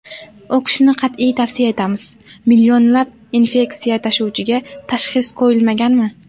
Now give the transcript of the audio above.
O‘qishni qat’iy tavsiya etamiz: Millionlab infeksiya tashuvchiga tashxis qo‘yilmaganmi?